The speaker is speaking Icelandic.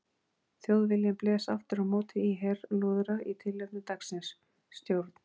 Þjóðviljinn blés aftur á móti í herlúðra í tilefni dagsins: STJÓRN